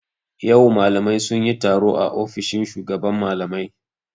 Yau malamai sun yi taro a ofishin shugaban malamai.